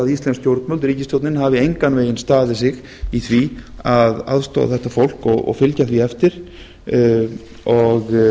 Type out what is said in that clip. íslensk stjórnvöld ríkisstjórnin hafi engan veginn staðið sig í því að aðstoða þetta fólk og fylgja því eftir og